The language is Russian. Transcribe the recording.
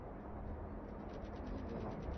не верю